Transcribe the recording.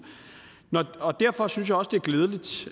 derfor synes jeg også det er glædeligt